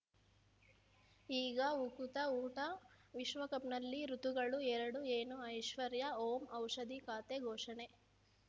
ಈಗ ಉಕುತ ಊಟ ವಿಶ್ವಕಪ್‌ನಲ್ಲಿ ಋತುಗಳು ಎರಡು ಏನು ಐಶ್ವರ್ಯಾ ಓಂ ಔಷಧಿ ಖಾತೆ ಘೋಷಣೆ